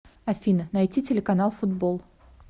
афина найти телеканал футбол